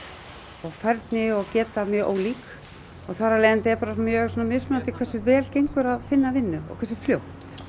og færni og geta mjög ólík og þar af leiðandi er mjög mismunandi hversu vel gengur að finna vinnu og hversu fljótt